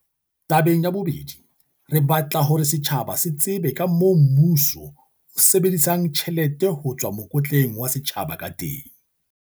"Tabeng ya bobedi, re batla hore setjhaba se tsebe kamoo mmuso o sebedisang tjhelete ho tswa mokotleng wa setjhaba ka teng."